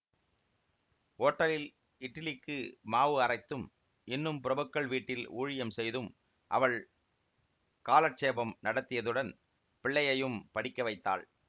ஓட்டலில் இட்லிக்கு மாவு அரைத்தும் இன்னும் பிரபுக்கள் வீட்டில் ஊழியம் செய்தும் அவள் காலட்சேபம் நடத்தியதுடன் பிள்ளையையும் படிக்க வைத்தாள்